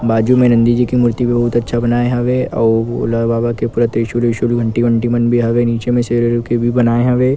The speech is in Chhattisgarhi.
बाजु मे नंदी जी के मूर्ति भी बहुत अच्छा बनाए हवे अउ भोला बाबा के पूरा त्रिशूल उरशूल घंटी वंटि मन भी हवे शेर उर के भी बनाए हवे।